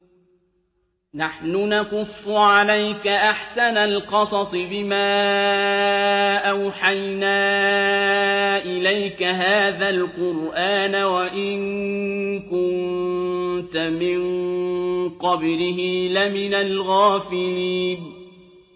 نَحْنُ نَقُصُّ عَلَيْكَ أَحْسَنَ الْقَصَصِ بِمَا أَوْحَيْنَا إِلَيْكَ هَٰذَا الْقُرْآنَ وَإِن كُنتَ مِن قَبْلِهِ لَمِنَ الْغَافِلِينَ